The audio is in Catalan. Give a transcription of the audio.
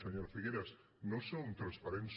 senyora figueras no són transparents